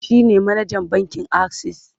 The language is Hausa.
shine manajan bankin akses